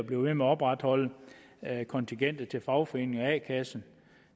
ved med opretholde kontingentet til fagforening og a kasse